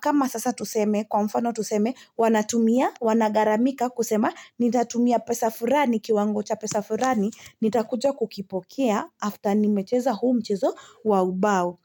Kama sasa tuseme, kwa mfano tuseme, wanatumia, wanagharamika kusema, nitatumia pesa furani kiwango cha pesa furani, nitakuja kukipokea after nimecheza huo mchezo, wa ubao.